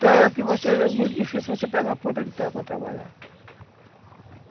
Terra que vai ser muito difícil você pegar uma ponta de terra para trabalhar.